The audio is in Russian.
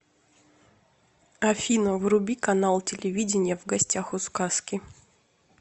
афина вруби канал телевидения в гостях у сказки